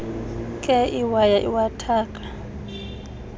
nkee iwaya iwathaka